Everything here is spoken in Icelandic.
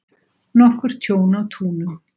Nokkurt tjón á túnum